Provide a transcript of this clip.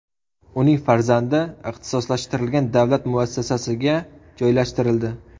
Uning farzandi ixtisoslashtirilgan davlat muassasasiga joylashtirildi.